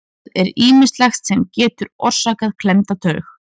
Það er ýmislegt sem getur orsakað klemmda taug.